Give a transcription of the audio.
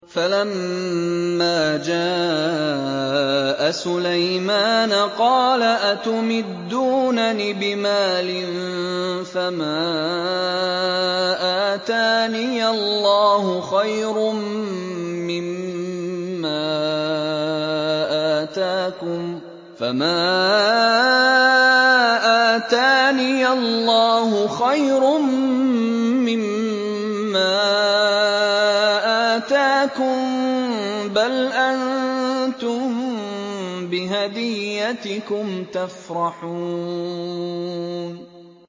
فَلَمَّا جَاءَ سُلَيْمَانَ قَالَ أَتُمِدُّونَنِ بِمَالٍ فَمَا آتَانِيَ اللَّهُ خَيْرٌ مِّمَّا آتَاكُم بَلْ أَنتُم بِهَدِيَّتِكُمْ تَفْرَحُونَ